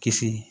Kisi